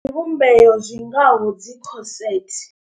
Zwivhumbeo zwi ngaho dzo corset.